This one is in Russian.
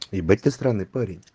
ебать ты странный парень